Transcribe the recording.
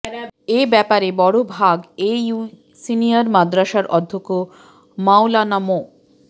এ ব্যাপারে বড়ভাগ A U senior মাদ্রাসার অধ্যক্ষ মাওলানা মো